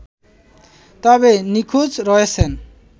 তবে নিখোঁজ রয়েছেন